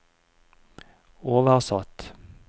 oversatt